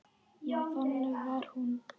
Já, þannig var hún.